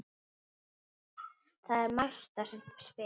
Það er Marta sem spyr.